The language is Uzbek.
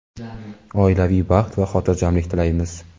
oilaviy baxt va hotirjamlik tilaymiz!.